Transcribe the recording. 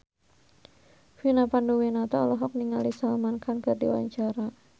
Vina Panduwinata olohok ningali Salman Khan keur diwawancara